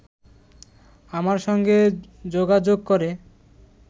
আমার সঙ্গে যোগাযোগ করে